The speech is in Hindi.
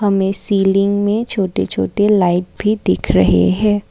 हमें सीलिंग में छोटे छोटे लाइट भी दिख रहे हैं।